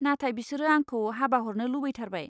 नाथाय बिसोरो आंखौ हाबा हरनो लुबैथारबाय।